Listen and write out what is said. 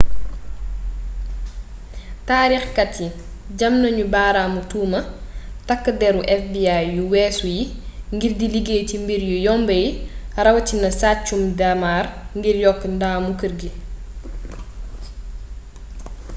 taarix kat yi jam nañu baaraamu tuuma takk déru fbi yu wésu yi ngir di liggéey ci mbir yu yomb yi rawatina sàccum daamar ngir yokk ndamu keer gi